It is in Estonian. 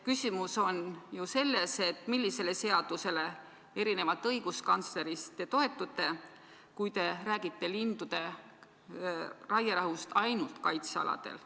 Küsimus on ju selles, millisele seadusele te toetute, kui te erinevalt õiguskantslerist räägite lindude raierahust ainult kaitsealadel.